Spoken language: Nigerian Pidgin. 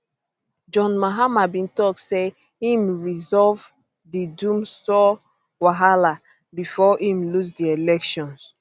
john mahama bin tok say im resolve di dumsor wahala bifor im lose di elections